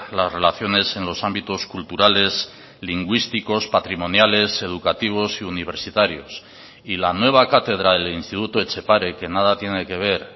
las relaciones en los ámbitos culturales lingüísticos patrimoniales educativos y universitarios y la nueva cátedra del instituto etxepare que nada tiene que ver